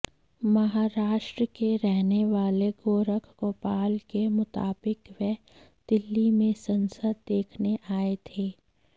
महाराष्ट्र के रहने वाले गोरख गोपाल के मुताबिक वे दिल्ली में संसद देखने आए थे